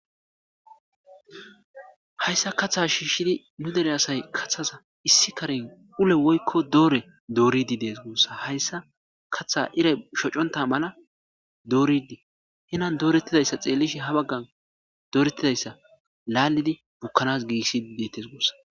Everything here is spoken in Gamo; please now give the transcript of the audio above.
Hayssa kaaththa shiishidii nu dere asay kaththas issi karen ullu woykko doore dooridii des guussa hayssa kaaththaz iray shoocontta mala dooridii henani dooretidayssa xellishe ha baggan dooretidayssa lalidi bukkanas gigisidii deettes guussa